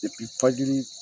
fajiri